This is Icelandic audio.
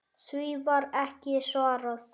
Því var ekki svarað.